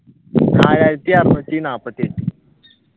നാലായിരത്തി അറുനൂറ്റി നാല്പത്തി എട്ട്